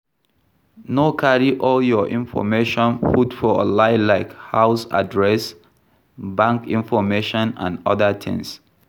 No carry all your information put for online like house address, bank information and oda things